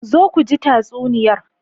Zo ku ji tatsuniyar.